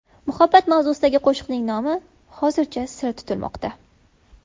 Muhabbat mavzusidagi qo‘shiqning nomi hozircha sir tutilmoqda.